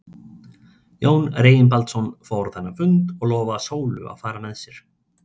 Jón Reginbaldsson fór á þennan fund og lofaði Sólu að fara með sér.